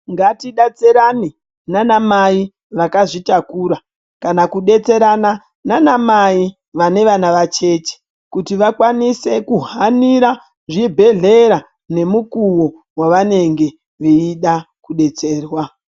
Ngatidetserana naanamai vakazvitakura kana kudetserana naanami vane vana vacheche kuti vakwanise kuhanhira zvibhedhlera nemukuwo wavanenge veida kudetserrwa.